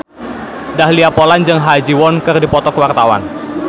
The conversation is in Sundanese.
Dahlia Poland jeung Ha Ji Won keur dipoto ku wartawan